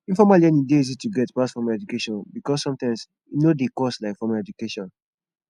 informal learning dey easy to get pass formal education because sometimes e no dey cost like formal educataion